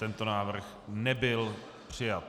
Tento návrh nebyl přijat.